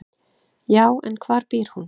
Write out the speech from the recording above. """Já, en hvar býr hún?"""